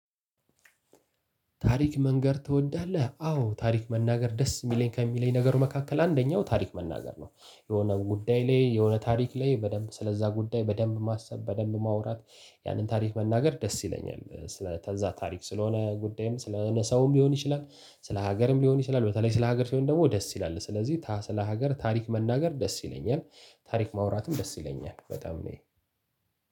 ታሪክ መንገር ትወዳለህ አዎ ታሪክ መናገር ደስ የሚለኝ ከሚለኝ ነገር መካከል አንደኛው ታሪክ መናገር ነው። የሆነ ጉዳይ ላይ የሆነ ታሪክ ላይ በደንብ ስለዛ ጉዳይ በደንብ ማሰብ በደንብ ማውራት ያንን ታሪክ መናገር ደስ ይለኛል። ስለ ተዛ ታሪክ ስለሆነ ጉዳይም ስለ ሰውም ሊሆን ይችላል ስለ ሀገርም ሊሆን ይችላል በተለይ ስለ ሀገር ሲሆን ደግሞ ደስ ይላል። ስለዚህ ታ ስለ ሀገር ታሪክ መናገር ደስ ይለኛል። ታሪክ ማውራትም ደስ ይለኛል። በጣም እኔ